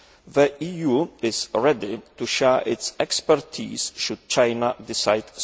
The EU is ready to share its expertise, should China so decide.